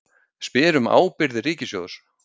Spyr um ábyrgðir ríkissjóðs